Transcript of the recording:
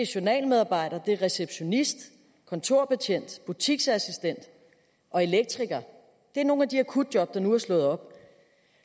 journalmedarbejder receptionist kontorbetjent butiksassistent og elektriker det er nogle af de akutjob der nu er slået op